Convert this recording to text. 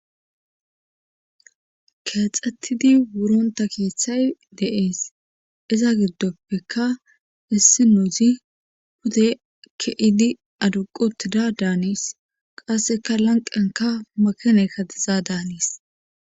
Keexetidi worontta keethay dees. izantappekka issinozi pude ke'idi adduqqi uttida daanees. Qassekka lanqqiyankka makinaykka diza danees.